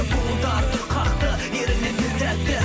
буын тартып қақты еріні бір тәтті